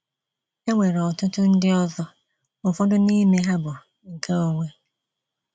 Enwere ọtụtụ ndị ọzọ, ụfọdụ n'ime ha bụ nkeonwe.